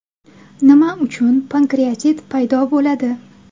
Nima uchun pankreatit paydo bo‘ladi?